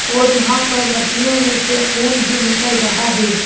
और यहां पर मछलियों में से खून भी निकल रहा है।